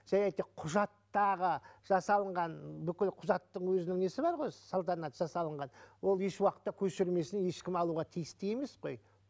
және де құжаттағы жасалынған бүкіл құжаттың өзінің несі бар ғой салтанат жасалынған ол еш уақытта көшірмесін ешкім алуға тиісті емес қой